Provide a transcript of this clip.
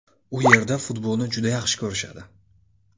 U yerda futbolni juda yaxshi ko‘rishadi.